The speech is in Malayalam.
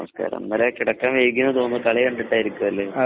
ഇന്നലെ കിടക്കാൻ വൈകി എന്ന് തോന്നുന്നു കളി കണ്ടിട്ടായിരിക്കും അല്ലെ